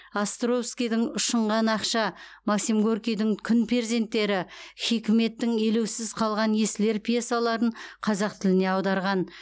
островскийдің ұшынған ақша максим горкийдің күн перзенттері хикметтің елеусіз қалған есіл ер пьесаларын қазақ тіліне аударған